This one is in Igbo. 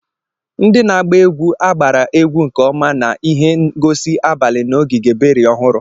Ndị na-agba egwu agbara egwu nke ọma na ihe ngosi abalị na ogige berry ọhụrụ.